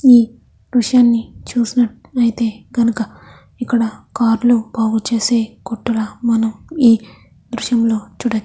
ఈ దృశ్యాన్ని చూసిన ట్లయితే గనక ఇక్కడ కార్లు బాగు చేసే కొట్టు లా మనం ఈ దృశ్యంలో చూడొ --